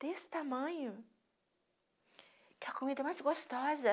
Desse tamanho, aquela comida mais gostosa.